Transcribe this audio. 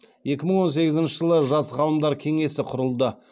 екі мың он сегізінші жылы жас ғалымдар кеңесі құрылды